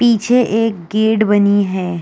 पीछे एक गेट बनी है।